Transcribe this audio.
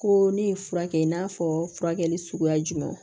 Ko ne ye fura kɛ i n'a fɔ furakɛli suguya jumɛnw